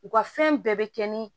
U ka fɛn bɛɛ bɛ kɛ ni